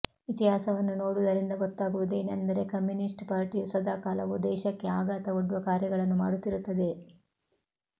ಇತಿಹಾಸವನ್ನು ನೋಡುವುದರಿಂದ ಗೊತ್ತಾಗುವುದೇನೆಂದರೆ ಕಮ್ಯುನಿಸ್ಟ್ ಪಾರ್ಟಿಯು ಸದಾಕಾಲವೂ ದೇಶಕ್ಕೆ ಆಘಾತ ಒಡ್ಡುವ ಕಾರ್ಯಗಳನ್ನು ಮಾಡುತ್ತಿರುತ್ತದೆ